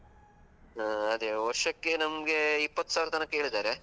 ಹಾ, ಅದೇ ವರ್ಷಕ್ಕೆ ನಮ್ಗೆ ಇಪ್ಪತ್ತು ಸಾವಿರ ತನ್ಕ ಹೇಳಿದ್ದಾರೆ.